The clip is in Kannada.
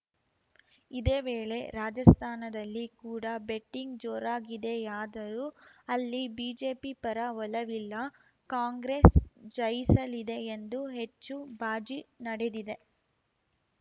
ಇದೇ ವೇಳೆ ರಾಜಸ್ಥಾನದಲ್ಲಿ ಕೂಡ ಬೆಟ್ಟಿಂಗ್‌ ಜೋರಾಗಿದೆಯಾದರೂ ಅಲ್ಲಿ ಬಿಜೆಪಿ ಪರ ಒಲವಿಲ್ಲ ಕಾಂಗ್ರೆಸ್‌ ಜಯಿಸಲಿದೆ ಎಂದು ಹೆಚ್ಚು ಬಾಜಿ ನಡೆದಿದೆ